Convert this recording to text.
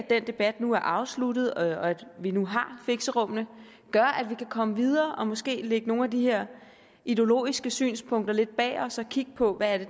den debat nu er afsluttet og at vi nu har fixerummene gør at vi kan komme videre og måske lægge nogle af de her ideologiske synspunkter lidt bag os og kigge på hvad det